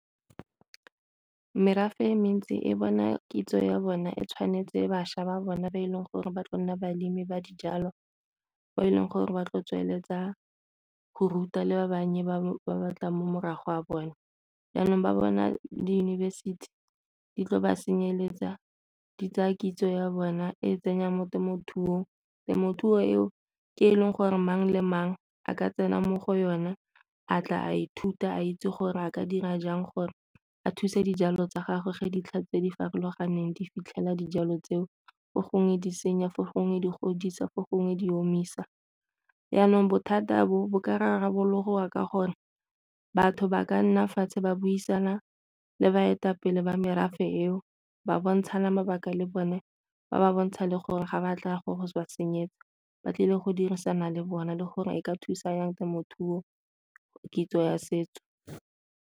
Merafe e mentsi e bona kitso ya bona e tshwanetse bašwa ba bona ba e leng gore ba tla nna balemi ba dijalo bo e leng gore ba tlo tsweletsa go ruta le ba bannye ba ba tlang mo morago a bone. Jaanong ba bona diyunibesithi di tlo ba senyetsa di tsaya kitso ya bona e tsenya mo temothuong, temothuo eo ke e leng gore mang le mang a ka tsena mo go yone a tla a ithuta a itse gore a ka dira jang gore a thusa dijalo tsa gagwe fa dintlha tse di farologaneng di fitlhela dijalo tseo. Fo gongwe di senya, fo gongwe di godisa, fo gongwe di omisa. Jaanong bothata bo bo ka rarabologa ka gore batho ba ka nna fatshe ba buisana le baetapele ba merafe eo ba bontshane mabaka le bone ba ba bontsha le gore ga ba tla go go ba senyetsa ba tlile go dirisana le bona le gore e ka thusa jang temothuo kitso ya setso.